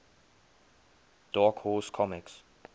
dark horse comics